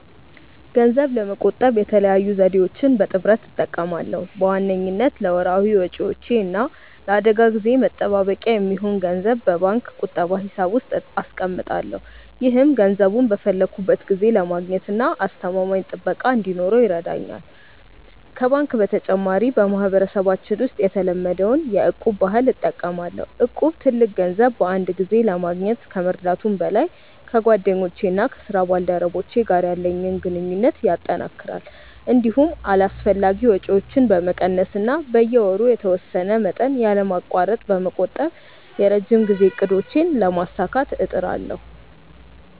ገንዘብ ለመቆጠብ የተለያዩ ዘዴዎችን በጥምረት እጠቀማለሁ። በዋነኝነት ለወርሃዊ ወጪዎቼ እና ለአደጋ ጊዜ መጠባበቂያ የሚሆን ገንዘብ በባንክ ቁጠባ ሂሳብ ውስጥ አስቀምጣለሁ። ይህም ገንዘቡን በፈለግኩት ጊዜ ለማግኘትና አስተማማኝ ጥበቃ እንዲኖረው ይረዳኛል። ከባንክ በተጨማሪ፣ በማህበረሰባችን ውስጥ የተለመደውን የ'እቁብ' ባህል እጠቀማለሁ። እቁብ ትልቅ ገንዘብ በአንድ ጊዜ ለማግኘት ከመርዳቱም በላይ፣ ከጓደኞቼና ከስራ ባልደረቦቼ ጋር ያለኝን ግንኙነት ያጠናክራል። እንዲሁም አላስፈላጊ ወጪዎችን በመቀነስ እና በየወሩ የተወሰነ መጠን ያለማቋረጥ በመቆጠብ የረጅም ጊዜ እቅዶቼን ለማሳካት እጥራለሁ።